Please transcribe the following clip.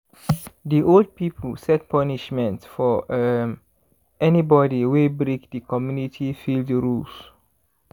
the old pipo set punishment for um anybody wey break the community field rules.